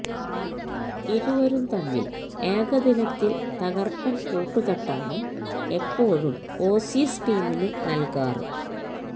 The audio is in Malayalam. ഇരുവരും തമ്മില് ഏകദിനത്തില് തകര്പ്പന് കൂട്ടുകെട്ടാണ് എപ്പോഴും ഓസീസ് ടീമിന് നല്കാറ്